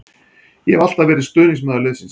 Ég hef alltaf verið stuðningsmaður liðsins.